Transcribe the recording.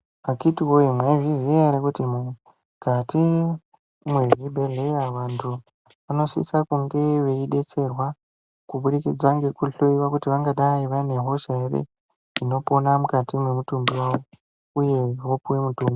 Akhiti voye maizviziya ere kuti mukati mwezvibhedhleya antu vanosise kunge veibetserwa. Kubudikidza ngekuhloiwa kuti vangadai vane hosha ere inopona mukati mwemutumbi vavo, uye vopuva mutombo.